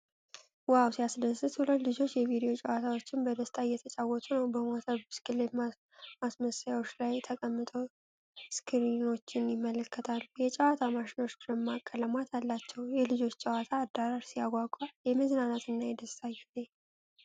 ዋው ሲያስደስት! ሁለት ልጆች የቪዲዮ ጨዋታዎችን በደስታ እየተጫወቱ ነው። በሞተር ብስክሌት ማስመሰያዎች ላይ ተቀምጠው ስክሪኖችን ይመለከታሉ። የጨዋታው ማሽኖች ደማቅ ቀለማት አላቸው። የልጆች የጨዋታ አዳራሽ ሲያጓጓ! የመዝናናትና የደስታ ጊዜ!